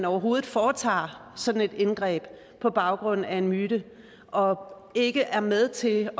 overhovedet foretager sådan et indgreb på baggrund af en myte og ikke er med til